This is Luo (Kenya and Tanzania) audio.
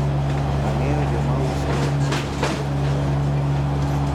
Angeyo jomauso hiemb gwen maber